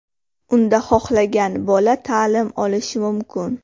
Unda xohlagan bola ta’lim olishi mumkin.